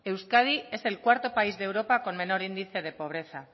euskadi es el cuarto país de europa con menor índice de pobreza